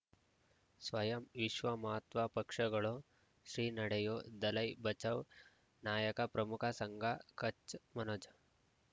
ಸ್ವಯಂ ವಿಶ್ವ ಮಹಾತ್ಮ ಪಕ್ಷಗಳು ಶ್ರೀ ನಡೆಯೂ ದಲೈ ಬಚೌ ನಾಯಕ ಪ್ರಮುಖ ಸಂಘ ಕಚ್ ಮನೋಜ್